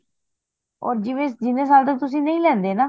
ਹੋਰ ਜਿਵੇਂ ਜਿਨੇ ਸਾਲ ਤੱਕ ਤੁਸੀ ਨਹੀਂ ਲੈਂਦੇ ਨਾ